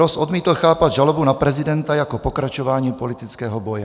Ross odmítl chápat žalobu na prezidenta jako pokračování politického boje.